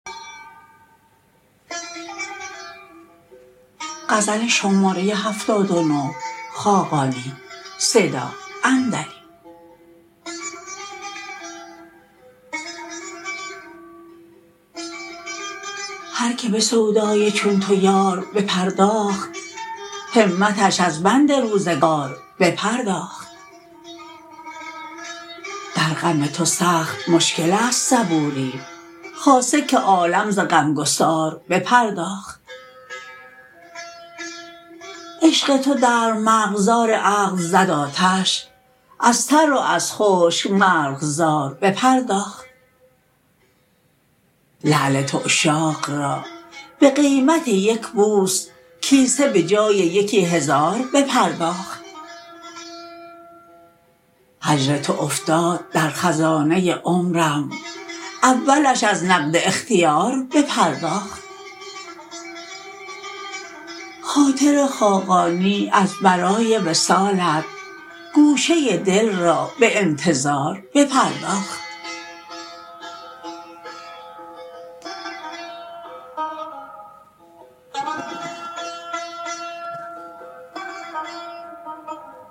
هر که به سودای چون تو یار بپرداخت همتش از بند روزگار بپرداخت در غم تو سخت مشکل است صبوری خاصه که عالم ز غمگسار بپرداخت عشق تو در مرغزار عقل زد آتش از تر و از خشک مرغزار بپرداخت لعل تو عشاق را به قیمت یک بوس کیسه به جای یکی هزار بپرداخت هجر تو افتاد در خزانه عمرم اولش از نقد اختیار بپرداخت خاطر خاقانی از برای وصالت گوشه دل را به انتظار بپرداخت